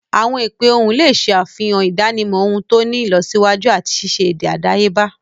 Awọn ipe ohùn le ṣe àfihàn idanimọ ohùn to ti ni ìlọsíwájú ati ṣiṣe èdè àdáyébá.